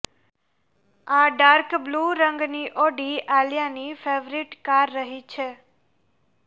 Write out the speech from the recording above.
આ dark blue રંગની Audi આલિયાની ફેવરિટ કાર રહી છે